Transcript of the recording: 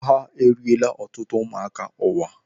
Agha eriela ọtụtụ ụmụaka ụwa.